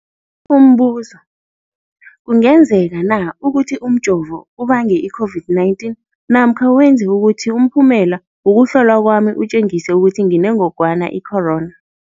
Umbuzo, kungenzekana ukuthi umjovo ubange i-COVID-19 namkha wenze ukuthi umphumela wokuhlolwa kwami utjengise ukuthi nginengogwana i-corona?